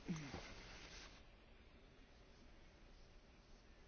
Cred că colegul meu, domnul Stoyanov, nu a înțeles.